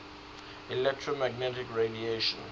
electromagnetic radiation